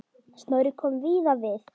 Snorri kom víða við.